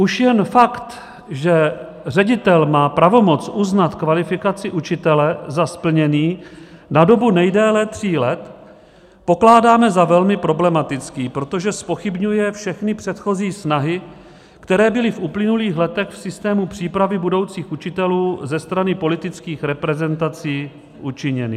Už jen fakt, že ředitel má pravomoc uznat kvalifikaci učitele za splněný na dobu nejdéle tří let, pokládáme za velmi problematický, protože zpochybňuje všechny předchozí snahy, které byly v uplynulých letech v systému přípravy budoucích učitelů ze strany politických reprezentací učiněny.